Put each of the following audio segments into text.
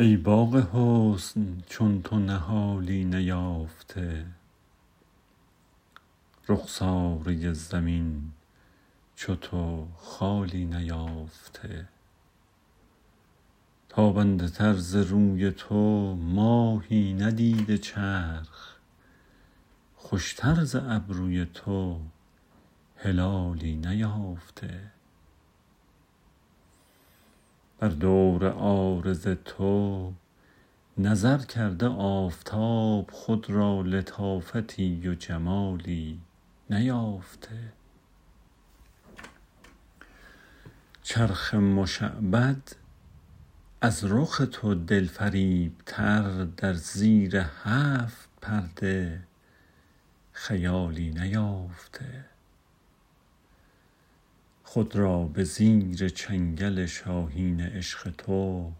ای باغ حسن چون تو نهالی نیافته رخساره زمین چو تو خالی نیافته تابنده تر ز روی تو ماهی ندیده چرخ خوشتر ز ابروی تو هلالی نیافته بر دور عارض تو نظر کرده آفتاب خود را لطافتی و جمالی نیافته چرخ مشعبد از رخ تو دلفریبتر در زیر هفت پرده خیالی نیافته خود را به زیر چنگل شاهین عشق تو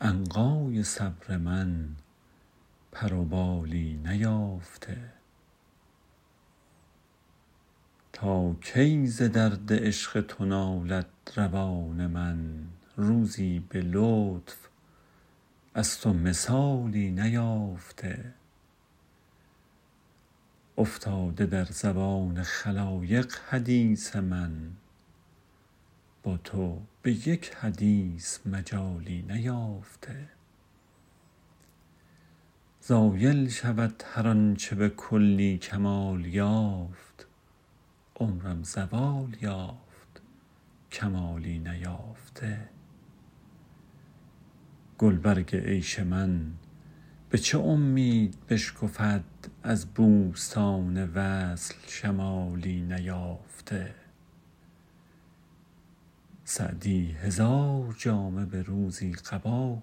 عنقای صبر من پر و بالی نیافته تا کی ز درد عشق تو نالد روان من روزی به لطف از تو مثالی نیافته افتاده در زبان خلایق حدیث من با تو به یک حدیث مجالی نیافته زایل شود هر آن چه به کلی کمال یافت عمرم زوال یافت کمالی نیافته گلبرگ عیش من به چه امید بشکفد از بوستان وصل شمالی نیافته سعدی هزار جامه به روزی قبا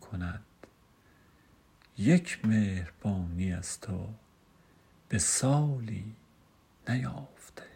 کند یک مهربانی از تو به سالی نیافته